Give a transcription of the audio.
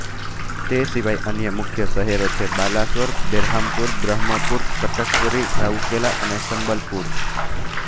તે સિવાય અન્ય મુખ્ય શહેરો છે બાલાસોર બેરહામપુર બ્રહ્મપુર કટક પુરી રાઉરકેલા અને સંબલપુર